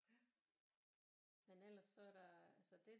Men ellers så der altså det